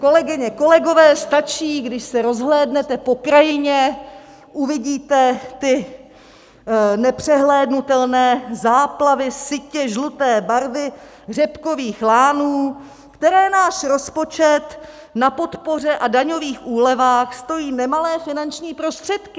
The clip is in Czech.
Kolegyně, kolegové, stačí, když se rozhlédnete po krajině, uvidíte ty nepřehlédnutelné záplavy sytě žluté barvy řepkových lánů, které náš rozpočet na podpoře a daňových úlevách stojí nemalé finanční prostředky.